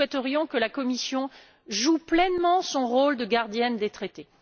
Nous, nous souhaiterions que la Commission joue pleinement son rôle de gardienne des traités.